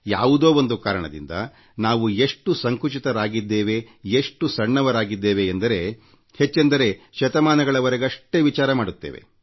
ಯಾವುದೋ ಒಂದು ಕಾರಣದಿಂದ ನಾವು ಎಷ್ಟು ಸಂಕುಚಿತರಾಗಿದ್ದೇವೆ ಎಷ್ಟು ಸಣ್ಣವರಾಗಿದ್ದೇವೆಂದರೆ ಹೆಚ್ಚೆಂದರೆ ಶತಮಾನಗಳವರೆ ಮಾತ್ರವೇ ಯೋಚನೆ ಮಾಡುತ್ತೇವೆ